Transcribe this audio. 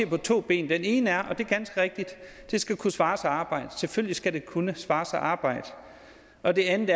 på to ben og det ene er og det er ganske rigtigt at det skal kunne svare sig at arbejde selvfølgelig skal det kunne svare sig at arbejde og det andet